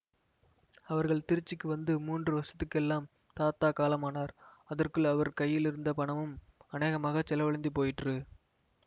அவர்கள் திருச்சிக்கு வந்து மூன்று வருஷத்துக்கெல்லாம் தாத்தா காலமானார் அதற்குள் அவர் கையிலிருந்த பணமும் அநேகமாகச் செலவழிந்து போயிற்று